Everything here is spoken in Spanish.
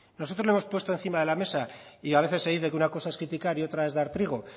nosotros le hemos puesto encima de la mesa y a veces se dice que una cosa es criticar y otra es dar trigo